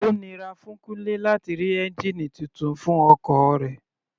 Ó nira fún Kunle láti rí ẹ́ngìnì titun fún ọkọ̀ rẹ̀.